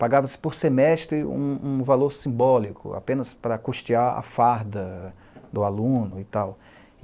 Pagava-se por semestre um um valor simbólico, apenas para custear a farda do aluno e tal.